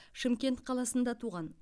шымкент қаласында туған